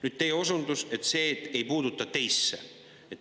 Nüüd, teie osundus, et see ei puutu teisse.